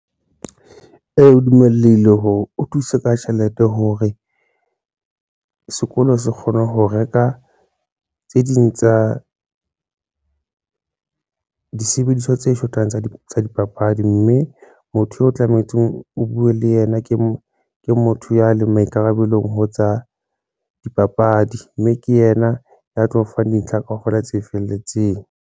Ee, o dummelehile hore o thuse ka tjhelete hore sekolo se kgone ho reka tse ding tsa disebediswa tse shotang tsa dipapadi, mme motho o tlametse o buwe le yena ke motho ya leng maikarabelo ho tsa dipapadi, mme ke yena ya tlo o fang dintlha kaofela tse felletseng.